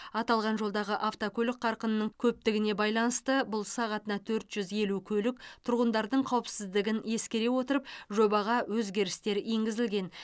аталған жолдағы автокөлік қарқынының көптігіне байланысты бұл сағатына төрт жүз елу көлік тұрғындардың қауіпсіздігін ескере отырып жобаға өзгерістер енгізілген